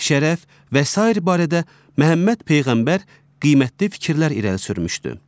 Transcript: Şərəf və sair barədə Məhəmməd Peyğəmbər qiymətli fikirlər irəli sürmüşdü.